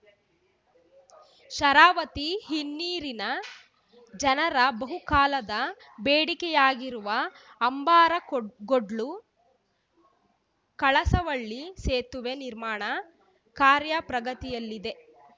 ಶರಾವತಿ ಹಿನ್ನೀರಿನ ಜನರ ಬಹುಕಾಲದ ಬೇಡಿಕೆಯಾಗಿರುವ ಅಂಬಾರಗೋಡ್ ಗೋಡ್ಲುಕಳಸವಳ್ಳಿ ಸೇತುವೆ ನಿರ್ಮಾಣ ಕಾರ್ಯ ಪ್ರಗತಿಯಲ್ಲಿದೆ